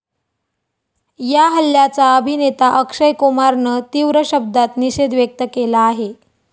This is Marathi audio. या हल्ल्याचा अभिनेता अक्षय कुमारनं तीव्र शब्दांत निषेध व्यक्त केला आहे.